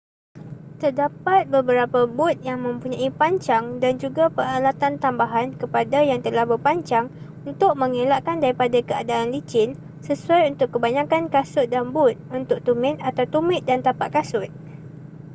terdapat beberapa but yang mempunyai pancang dan juga peralatan tambahan kepada yang telah berpancang untuk mengelakkan daripada keadaan licin sesuai untuk kebanyakan kasut dan but untuk tumit atau tumit dan tapak kasut